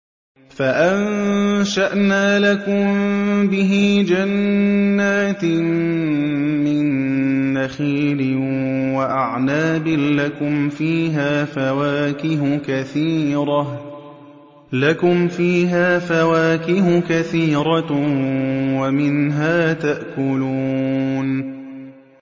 فَأَنشَأْنَا لَكُم بِهِ جَنَّاتٍ مِّن نَّخِيلٍ وَأَعْنَابٍ لَّكُمْ فِيهَا فَوَاكِهُ كَثِيرَةٌ وَمِنْهَا تَأْكُلُونَ